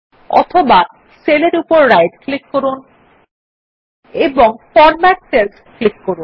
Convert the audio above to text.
অথবা সেল এর উপর রাইট ক্লিক করুন এবং ফরম্যাট সেলস ক্লিক করুন